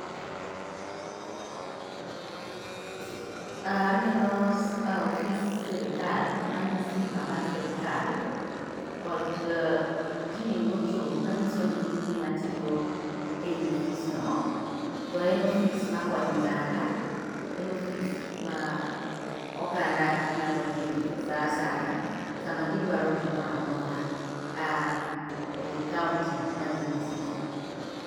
Aneno ofis sirikal man gi simba mar sirikal kod ji mochung' manyiso ni gin ji matiyo ei ofisno, to en ofis makonyo ognada, en ofis ma oganda nyalo dhiye sa saya, sama gidwaro gimora mora e kaonti ma gintie.